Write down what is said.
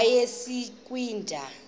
yasekwindla